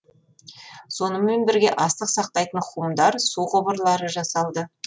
сонымен бірге астық сақтайтын хумдар су құбырлары жасалды